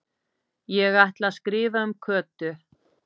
Ég ætla að skrifa um Kötu